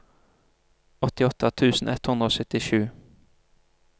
åttiåtte tusen ett hundre og syttisju